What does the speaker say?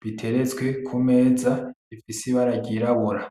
biteretswe kumeza, bifise ibira ry'irabura.